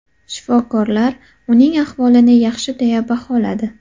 Shifokorlar uning ahvolini yaxshi deya baholadi.